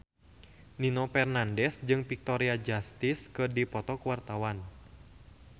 Nino Fernandez jeung Victoria Justice keur dipoto ku wartawan